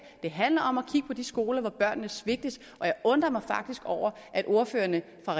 det handler om at kigge på de skoler hvor børnene svigtes og jeg undrer mig faktisk over at ordførerne for